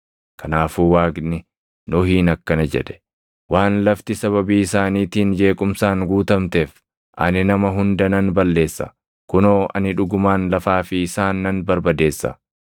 Kanaafuu Waaqni Nohiin akkana jedhe; “Waan lafti sababii isaaniitiin jeequmsaan guutamteef, ani nama hunda nan balleessa; kunoo ani dhugumaan lafaa fi isaan nan barbadeessa.